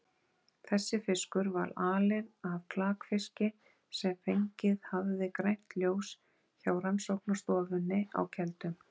Þessi fiskur var alinn af klakfiski sem fengið hafði grænt ljós hjá rannsóknastofunni á Keldum.